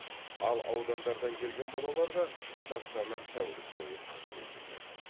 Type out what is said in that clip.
ал аудандардан келген балаларға стационар тәулік бойы қызмет етеді